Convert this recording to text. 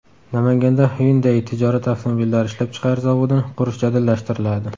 Namanganda Hyundai tijorat avtomobillari ishlab chiqarish zavodini qurish jadallashtiriladi.